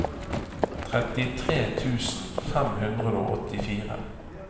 trettitre tusen fem hundre og åttifire